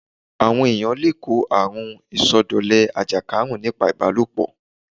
Àwọn èyàn le kó àrun ìsọdọ̀lẹ àjẹsára nípa ìbálòpọ̀.